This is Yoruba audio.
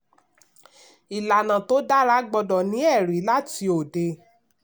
ìlànà tó dára gbọ́dọ̀ ní ẹ̀rí láti òde.